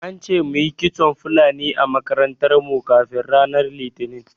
An ce muyi kitson Fulani a makarantar mu kafin ranar Litinin.